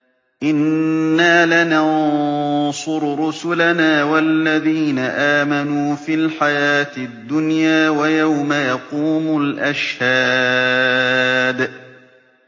إِنَّا لَنَنصُرُ رُسُلَنَا وَالَّذِينَ آمَنُوا فِي الْحَيَاةِ الدُّنْيَا وَيَوْمَ يَقُومُ الْأَشْهَادُ